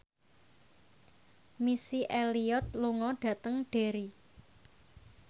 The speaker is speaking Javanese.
Missy Elliott lunga dhateng Derry